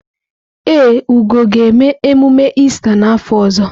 Ee, Ugo ga-eme emume Ista n’afọ ọzọ.